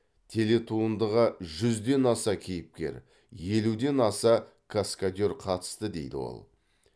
телетуындыға жүзден аса кейіпкер елуден аса каскадер қатысты дейді ол